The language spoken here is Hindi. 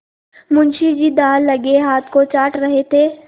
मुंशी जी दाललगे हाथ को चाट रहे थे